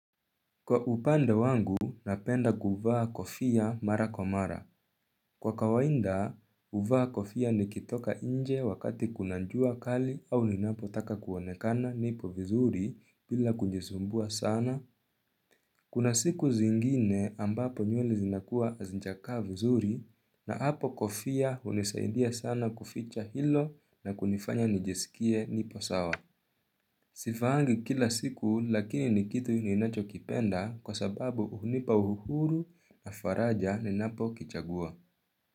Kwa upande wangu, napenda kuvaa kofia mara kwa mara. Kwa kawaida, huvaa kofia nikitoka nje wakati kuna jua kali au ninapotaka kuonekana nipo vizuri bila kujisumbua sana. Kuna siku zingine ambapo nywele zinakuwa zijakaa vizuri na hapo kofia hunisaidia sana kuficha hilo na kunifanya nijisikie nipo sawa. Sivaangi kila siku lakini ni kitu ninacho kipenda kwa sababu huhunipa uhuru na faraja ninapo kichagua.